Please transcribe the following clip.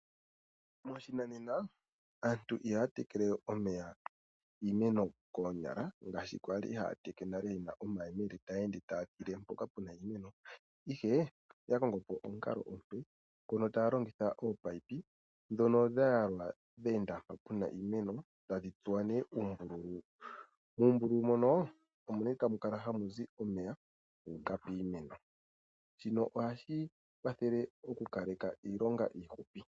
Moshinanena aantu ihaya tekele we omeya iimeno koonyala ngashi kwali haya teke nale yena omayemele taya ende taya tile mpoka pena iimeno. Ihe oya kongopo omukalo omupe ngono taya longitha oopayipi ndhono dha yalwa dheenda mpono puna iimeno tadhi tsuwa nee uumbululu. Uumbululu mbono omo ne tamu kala ha mu zi omeya guuka piimeno . Shino ohashi kwathele oku kaleka iilonga iihupi.